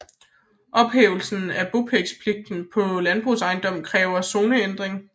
Ophævelse af bopælspligten på en landbrugsejendom kræver zoneændring